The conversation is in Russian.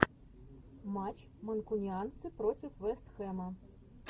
матч манкунианцы против вест хэма